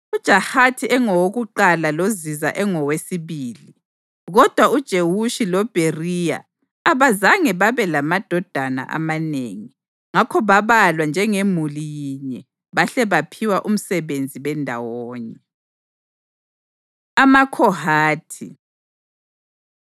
UJahathi engowakuqala loZiza engowesibili, kodwa uJewushi loBheriya abazange babelamadodana amanengi, ngakho babalwa njengemuli yinye bahle baphiwa umsebenzi bendawonye. AmaKhohathi